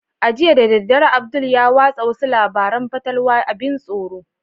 Jiya da daddare abdul ya watsa wasu labaran fatalwa abin tsoro